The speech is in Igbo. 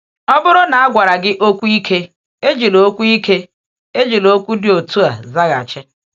Ọ bụrụ na a gwara gị okwu ike, ejila okwu ike, ejila okwu dị otu a zaghachi.